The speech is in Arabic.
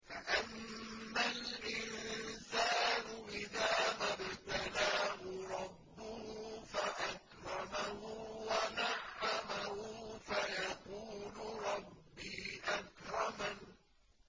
فَأَمَّا الْإِنسَانُ إِذَا مَا ابْتَلَاهُ رَبُّهُ فَأَكْرَمَهُ وَنَعَّمَهُ فَيَقُولُ رَبِّي أَكْرَمَنِ